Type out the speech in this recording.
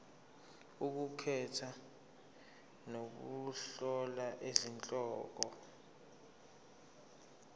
ukukhetha nokuhlola izihloko